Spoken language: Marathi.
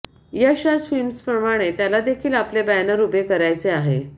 यश राज फिल्म्सप्रमाणे त्याला देखील आपले बॅनर उभे करायचे आहे